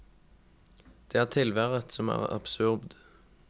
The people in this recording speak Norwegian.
Det er tilværet som er absurd.